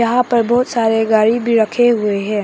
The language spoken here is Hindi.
यहां पर बहुत सारे गाड़ी भी रखे हुए है।